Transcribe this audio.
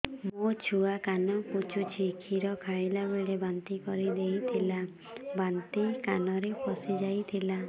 ମୋ ଛୁଆ କାନ ପଚୁଛି କ୍ଷୀର ଖାଇଲାବେଳେ ବାନ୍ତି କରି ଦେଇଥିଲା ବାନ୍ତି କାନରେ ପଶିଯାଇ ଥିଲା